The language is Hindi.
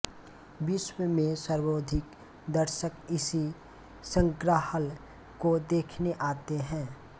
विश्व में सर्वाधिक दर्शक इसी संग्रहालय को देखने आते हैं